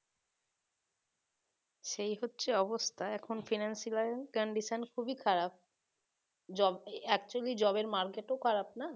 সেই হচ্ছে অবস্থা এখন financial condition খুব ই খারাপ job actually job এর market ও খারাপ না